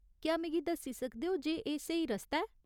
क्या मिगी दस्सी सकदे ओ जे एह् स्हेई रस्ता ऐ ?